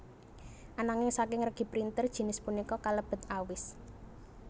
Ananging saking regi printer jinis punika kalebet awis